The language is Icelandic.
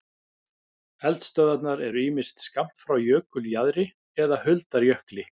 Eldstöðvarnar eru ýmist skammt frá jökuljaðri eða huldar jökli.